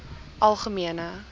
algemene